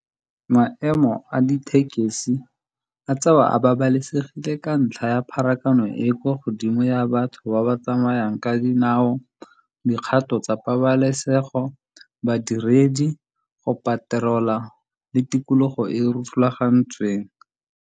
Maemo a dithekesi a tsewa a babalesegile ka ntlha ya pharakano e e kwa godimo ya batho ba ba tsamayang ka dinao. Dikgato tsa pabalesego badiredi, go patela le tikologo e e siameng.